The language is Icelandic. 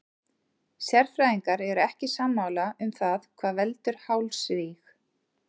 Sérfræðingar eru ekki sammála um það hvað veldur hálsríg.